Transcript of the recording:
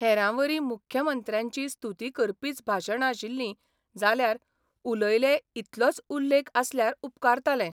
हेरांवरी मुख्यमंत्र्यांची स्तुती करपीच भाशणां आशिल्लीं जाल्यार 'उलयले 'इतलोच उल्लेख आसल्यार उपकारतालें.